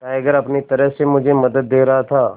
tiger अपनी तरह से मुझे मदद दे रहा था